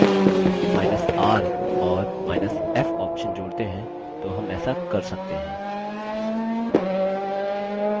लेकिन यदि हमr औरf option जोड़ते हैं तो हम ऐसा कर सकते हैं